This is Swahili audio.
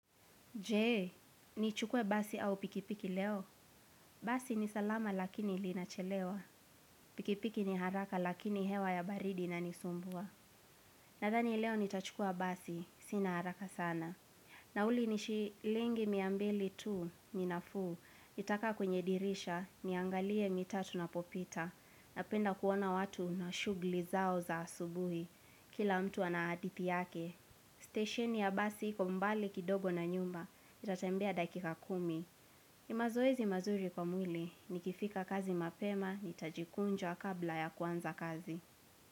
Je, ni chukue basi au pikipiki leo? Basi ni salama lakini ilinachelewa. Pikipiki ni haraka lakini hewa ya baridi inanisumbua. Nadhani leo nitachukua basi, sina haraka sana. Nauli ni shilingi mia mbili tu, ni nafuu, nitakaa kwenye dirisha, niangalie mitaa tunapopita. Napenda kuona watu na shughuli zao za asubuhi. Kila mtu anahadithi yake. Station ya basi iko mbali kidogo na nyumba, nitatembea dakika kumi. Nimazoezi mazuri kwa mwili, nikifika kazi mapema, nitajikunja kabla ya kuanza kazi.